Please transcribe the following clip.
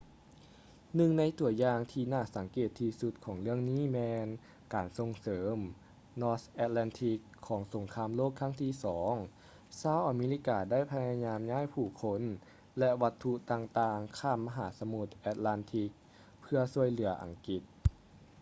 ໜຶ່ງໃນຕົວຢ່າງທີ່ໜ້າສັງເກດທີ່ສຸດຂອງເລື່ອງນີ້ແມ່ນການສົ່ງເສີມ north atlantic ຂອງສົງຄາມໂລກຄັ້ງທີ່ ii ຊາວອາເມລິກາໄດ້ພະຍາຍາມຍ້າຍຜູ້ຄົນ ແລະ ວັດຖຸຕ່າງໆຂ້າມມະຫາສະໝຸດ atlantic ເພື່ອຊ່ວຍເຫຼືອອັງກິດ